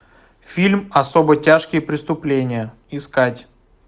фильм особо тяжкие преступления искать